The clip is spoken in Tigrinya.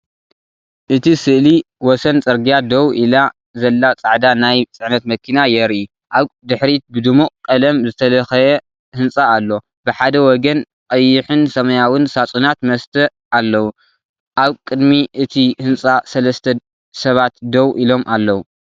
እቲ ስእሊ ወሰን ጽርግያ ደው ኢላ ዘላ ጻዕዳ ናይ ጽዕነት መኪና የርኢ። ኣብ ድሕሪት ብድሙቕ ቀለም ዝተለኽየ ህንጻ ኣሎ፣ ብሓደ ወገን ቀይሕን ሰማያውን ሳጹናት መስተ ኣለዉ። ኣብ ቅድሚ እቲ ህንጻ ሰለስተ ሰባት ደው ኢሎም ኣለዉ።